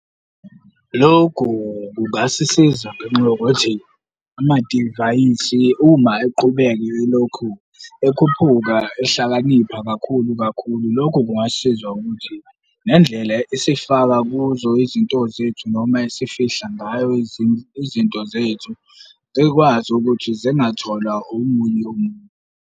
Lokhu kungasisiza ngenxa yokuthi amadivayisi uma eqhubeka yilokhu ekhuphuka ehlakaniphani kakhulu kakhulu, lokho kungasisiza ukuthi nendlela esifaka kuzo izinto zethu noma esifihla ngayo izinto zethu, ikwazi ukuthi zingatholwa omunye .